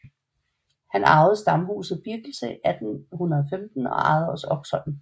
Han arvede Stamhuset Birkelse 1815 og ejede også Oksholm